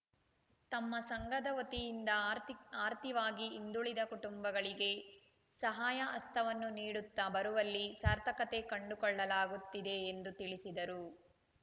ತಮ್ಮ ಸಂಘದ ವತಿಯಿಂದ ಆರ್ಥಿಕ್ ಆರ್ಥಿವಾಗಿ ಹಿಂದುಳಿದ ಕುಟುಂಬಗಳಿಗೆ ಸಹಾಯ ಹಸ್ತವನ್ನು ನೀಡುತ್ತಾ ಬರುವಲ್ಲಿ ಸಾರ್ಥಕತೆ ಕಂಡುಕೊಳ್ಳಲಾಗುತ್ತಿದೆ ಎಂದು ತಿಳಿಸಿದರು